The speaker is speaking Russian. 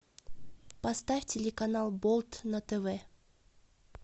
поставь телеканал болт на тв